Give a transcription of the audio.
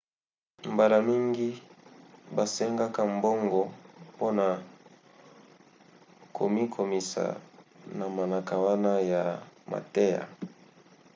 mbala mingi basengaka mbongo mpona komikomisa na manaka wana ya mateya